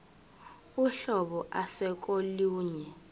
uhlobo ase kolunye